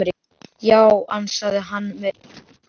Já, ansaði hann með ugg í brjósti.